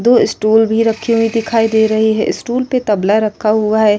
दो स्टूल भी रखे हुई दिखाई दे रहे हैं। स्टूल पे तबला रखा हुआ है।